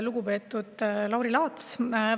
Lugupeetud Lauri Laats!